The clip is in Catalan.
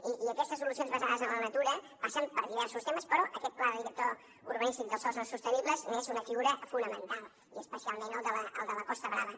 i aquestes solucions basades en la natura passen per diversos temes però aquest pla director urbanístic dels sòls no sostenibles n’és una figura fonamental i especialment el de la costa brava